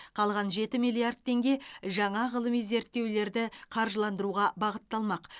қалған жеті миллард теңге жаңа ғылыми зерттеулерді қаржыландыруға бағытталмақ